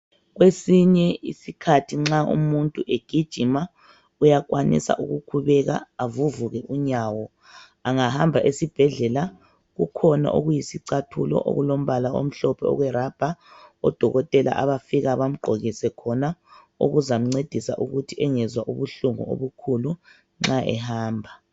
Kwesinye isikhathi nxa umuntu egijima uyakwanisa ukukhubeka avuvuke unyawo, engahamba esibhedlela kukhona okuyisicathulo okulombala omhlophe okwerubber odokotela abafika bamqokise khona, okuzamcedisa ukuthi engezwa ubuhlungu obukhulu nxa ehamba.